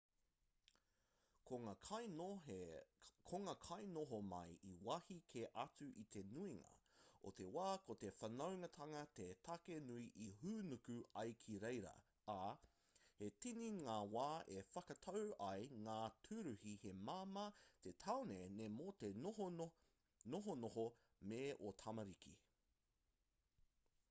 ko ngā kainoho mai i wāhi kē atu i te nuinga o te wā ko te whanaungatanga te take nui e hūnuku ai ki reira ā he tini ngā wā e whakatau ai ngā tūruhi he māmā te taone nei mō te nohonoho me ō tamariki